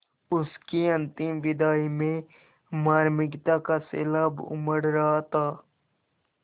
उसकी अंतिम विदाई में मार्मिकता का सैलाब उमड़ रहा था